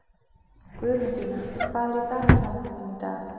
Guðmundína, hvað er í dagatalinu mínu í dag?